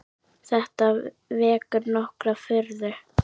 Þetta vekur nokkra furðu.